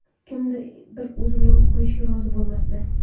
Kimdir bir o‘zimni qo‘yishga rozi bo‘lmasdi.